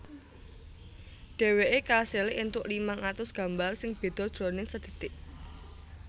Dhèwèké kasil éntuk limang atus gambar sing béda jroning sadhetik